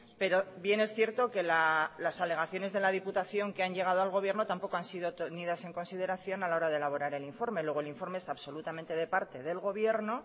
pero bien es cierto que las alegaciones de la diputación que han llegado al gobierno tampoco han sido tenidas en consideración a la hora de elaborar el informe luego el informe es absolutamente de parte del gobierno